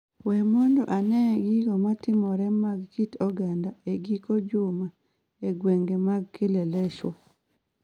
we mondo anene gigo matimore mag kit oganda e giko juma e gwenge mag Kileleshwa